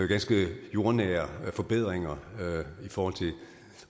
ganske jordnære forbedringer i forhold til